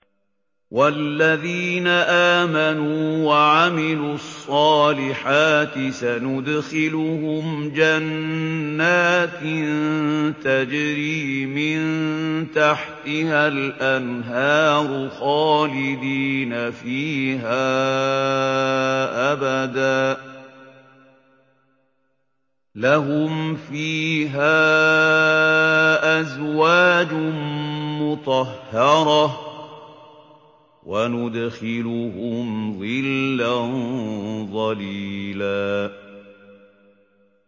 وَالَّذِينَ آمَنُوا وَعَمِلُوا الصَّالِحَاتِ سَنُدْخِلُهُمْ جَنَّاتٍ تَجْرِي مِن تَحْتِهَا الْأَنْهَارُ خَالِدِينَ فِيهَا أَبَدًا ۖ لَّهُمْ فِيهَا أَزْوَاجٌ مُّطَهَّرَةٌ ۖ وَنُدْخِلُهُمْ ظِلًّا ظَلِيلًا